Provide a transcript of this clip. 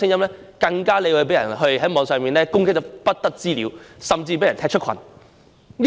這種聲音在網上會被人瘋狂攻擊，甚至被人踢出群組。